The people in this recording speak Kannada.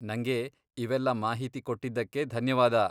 ನಂಗೆ ಇವೆಲ್ಲ ಮಾಹಿತಿ ಕೊಟ್ಟಿದ್ದಕ್ಕೆ ಧನ್ಯವಾದ.